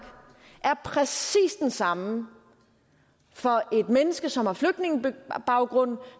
er præcis den samme for et menneske som har flygtningebaggrund